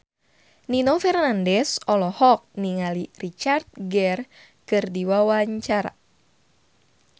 Nino Fernandez olohok ningali Richard Gere keur diwawancara